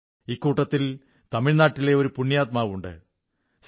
ഇക്കൂട്ടത്തിൽ തമിഴ്നാട്ടിലെ ഒരു പുണ്യാത്മാവുണ്ട് സി